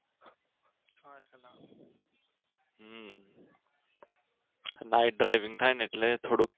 night driving થાય ને એટલે થોડુક